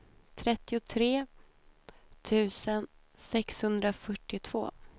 trettiotre tusen sexhundrafyrtiotvå